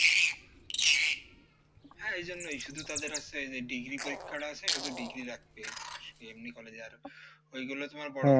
আর এই জন্যই শুধু তাদের আছে যে degree পরীক্ষাটা আছে হেতু degree রাখতে এমনি college এ আর ওইগুলো তোমার